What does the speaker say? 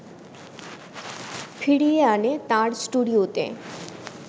ফিরিয়ে আনে তাঁর স্টুডিওতে